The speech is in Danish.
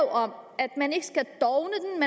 om at man ikke skal